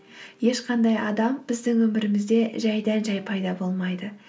ешқандай адам біздің өмірімізде жайдан жай пайда болмайды